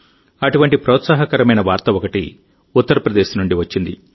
అటువంటి ప్రోత్సాహకరమైన వార్త ఒకటి ఉత్తరప్రదేశ్ నుండి వచ్చింది